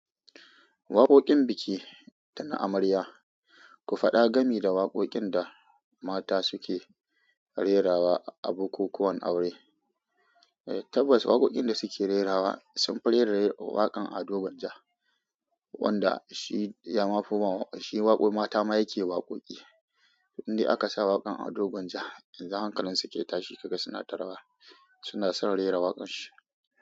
Waƙoƙin biki da na amarya. Ku faɗa gami da waƙoƙin da mata suke rerawa a bukukuwan aure. Tabbas waƙoƙin da suke rerawa sun fi rera waƙan ado gwanja wanda shi ya mafi ma shi waƙoƙin mata ma yake waƙoƙi. Inde aka sa waƙan ado gwanja, in za hankalin su ke tashi kaga suna tarawa, suna son rera waƙan shi.